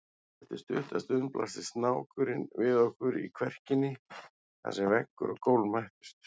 Eftir stutta stund blasti snákurinn við okkur í kverkinni þar sem veggur og gólf mættust.